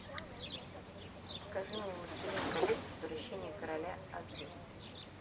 покажи мне властелин колец возвращение короля аш ди